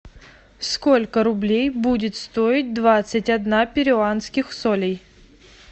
сколько рублей будет стоить двадцать одна перуанских солей